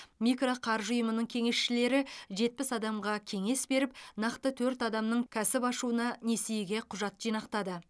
микро қаржы ұйымының кеңесшілері жетпіс адамға кеңес беріп нақты төрт адамның кәсіп ашуына несиеге құжат жинақтады